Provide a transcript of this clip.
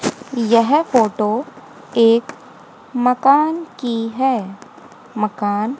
यह फोटो एक मकान की है मकान--